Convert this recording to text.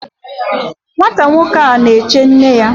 Nwata nwoke a na-eche nne ya